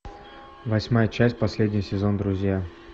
восьмая часть последний сезон друзья